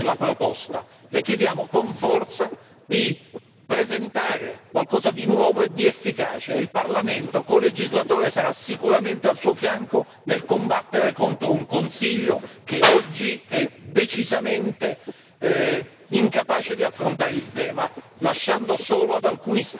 Le chiediamo, con forza, di presentare qualcosa di nuovo e di efficace e il Parlamento, colegislatore, sarà sicuramente al suo fianco nel combattere contro un Consiglio che oggi è decisamente incapace di affrontare il tema, lasciando solo ad alcuni Stati il compito.